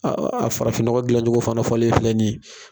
a farafinnɔgɔ gilanccogo fana fɔlen filɛ nin ye.